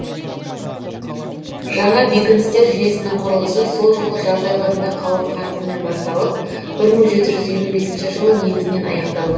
жаңа бекіністер жуйесінің құрылысы сол жылғы жаз айларында қауырт қарқынмен басталып бір мың жеті жүз елу бесінші жылы негізінен аяқталды